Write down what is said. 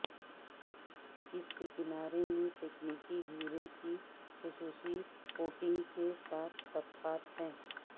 اس کے کنارے میں تکنیکی ہیرے کی خصوصی کوٹنگ کے ساتھ طبقات ہیں